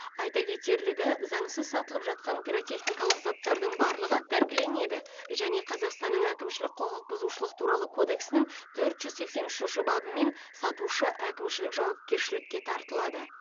айта кетерлігі заңсыз сатылып жатқан пиротехникалық заттардың барлығы тәркіленеді және қазақстанның әкімшілік құқық бұзушылық туралы кодексінің төрт жүз сексен үшінші бабымен сатушы әкімшілік жауапкершілікке тартылады